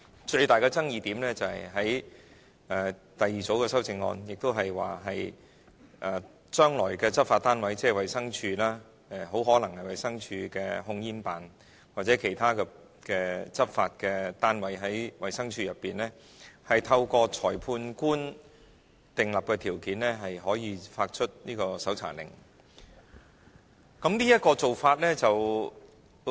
最大的爭議點是第二組修正案，即是將來的執法單位，即是衞生署，很可能是衞生署的控煙辦公室或其他執法單位，透過裁判官訂立的條件可以發出搜查令予有關的督察。